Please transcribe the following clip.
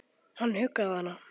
Hann huggaði hana.